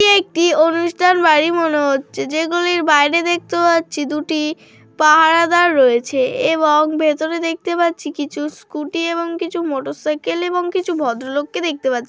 এটি একটি অনুষ্ঠান বাড়ি মনে হচ্ছে যেগুলির বাইরে দেখতে পাচ্ছি দুটি পাহারাদার রয়েছে এবং ভেতরে দেখতে পাচ্ছি কিছু স্কুটি এবং কিছু মোটর সাইকেল এবং কিছু ভদ্রলোককে দেখতে পাচ্ছি।